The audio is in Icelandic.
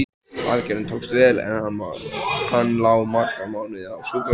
Aðgerðin tókst vel, en hann lá marga mánuði á sjúkrahúsinu.